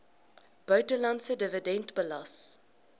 buitelandse dividend belas